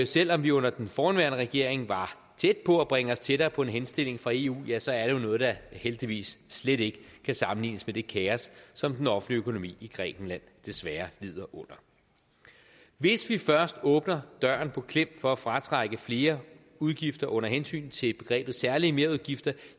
selv om vi under den forrige regering var tæt på at bringe os tættere på en henstilling fra eu ja så er det jo noget der heldigvis slet ikke kan sammenlignes med det kaos som den offentlige økonomi i grækenland desværre lider under hvis vi først åbner døren på klem for at fratrække flere udgifter under hensyn til begrebet særlige merudgifter